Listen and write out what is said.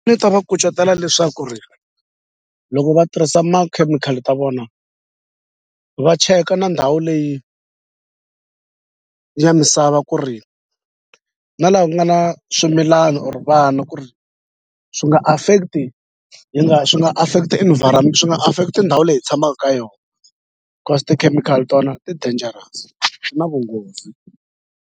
Ni ta va kucetela leswaku ri loko va tirhisa makhemikhali ta vona va cheka na ndhawu leyi ya misava ku ri na la ku nga na swimilana or vana ku ri swi nga affect-i hi swi nga affect-i swi nga affect i ndhawu leyi hi tshamaku ka yona cause tikhemikhali tona ti-dangerous swi na vunghozi.